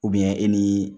e ni